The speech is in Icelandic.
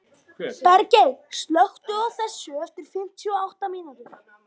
Bergey, slökktu á þessu eftir fimmtíu og átta mínútur.